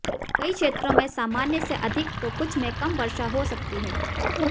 कई क्षेत्रों में सामान्य से अधिक तो कुछ में कम वर्षा हो सकती है